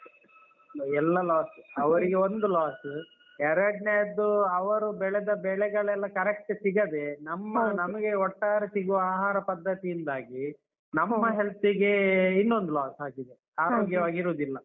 ಎಲ್ಲ loss ಅವರಿಗೆ ಒಂದು loss ಎರಡನೆದ್ದು ಅವರು ಬೆಳೆದ ಬೆಳೆಗಳೆಲ್ಲ correct ಸಿಗದೇ ನಮ್ಮ ನಮ್ಗೆ ಒಟ್ಟಾರೆ ಸಿಗುವ ಆಹಾರ ಪದ್ಧತಿಯಿಂದಾಗಿ ನಮ್ಮ health ಗೆ ಇನ್ನೊಂದ್ loss ಆಗಿದೆ. ಆರೋಗ್ಯವಾಗಿ ಇರುದಿಲ್ಲ.